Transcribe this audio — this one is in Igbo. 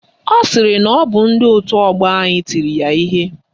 Ọ sịrị na ọ bụ ndị òtù ọgbọ anyị tiri ya ihe.